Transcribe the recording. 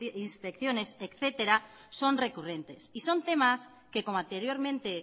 inspecciones etcétera son recurrentes y son temas que como anteriormente